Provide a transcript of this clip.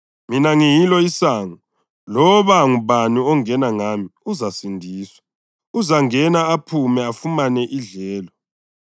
Mina ngiyilo isango; loba ngubani ongena ngami uzasindiswa. Uzangena, aphume, afumane idlelo.